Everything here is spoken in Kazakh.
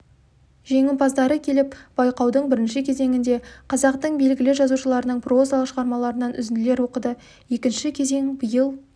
жеңімпаздары келіп байқаудың бірінші кезеңінде қазақтың белгілі жазушыларының прозалық шығармаларынан үзінділер оқыды екінші кезең биыл